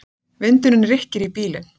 Vindurinn rykkir í bílinn.